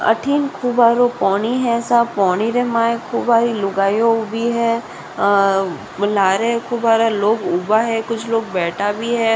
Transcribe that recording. अठन खूब आरो पौनी है सा पौनी रे मा लुगायो भी है अ लार खूब आरा लोग ऊबा है कुछ लोग बैठा भी है।